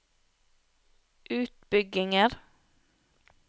utbygginger